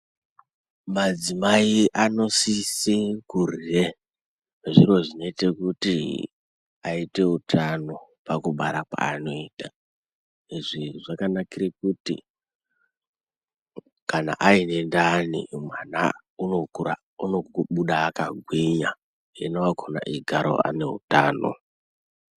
Madzimai anosisa kudyre zviro zvinoita kuti aite utano pakubara kwaanoita. Izvi zvakanakira kuti kana aine ndani mwana unokura, unobuda akagwinya ena akhona eigara aine hutano.